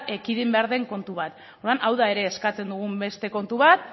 ekidin behar den kontu bat orduan hau da ere eskatzen dugun beste kontu bat